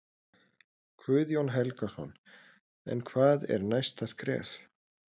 Guðjón Helgason: En hvað er næsta skref?